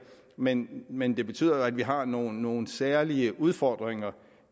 men men det betyder at vi har nogle nogle særlige udfordringer